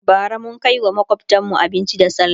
bara mun Kai wa makwftanmu abinci da sallah